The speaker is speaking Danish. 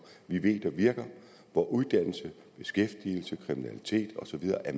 vi ved der virker hvor uddannelse beskæftigelse kriminalitet og så videre er